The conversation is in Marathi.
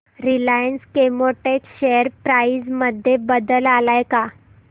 रिलायन्स केमोटेक्स शेअर प्राइस मध्ये बदल आलाय का